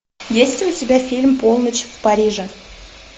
есть ли у тебя фильм полночь в париже